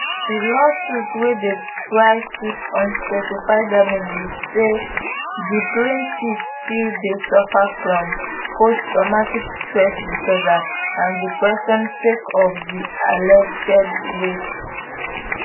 di lawsuit wey dey try seek unspecified damages say di plaintiff still dey suffer from posttraumatic stress disorder and depression sake of di alleged rapes